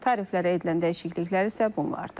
Tariflərə edilən dəyişikliklər isə bunlardır.